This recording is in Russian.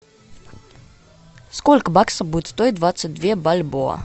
сколько баксов будет стоить двадцать две бальбоа